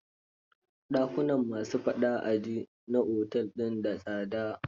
Dakunan ma su faɗa a ji na otel din da tsada?